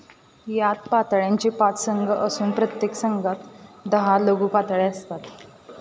यात पातळ्यांचे पाच संघ असून प्रत्येक संघात दहा लघुपातळ्या असतात.